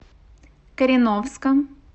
кореновска